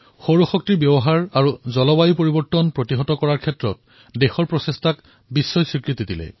সৌৰ শক্তি আৰু জলবায়ু পৰিৱৰ্তনত ভাৰতৰ প্ৰয়াসে বিশ্ব দৰবাৰত স্থান লাভ কৰিছে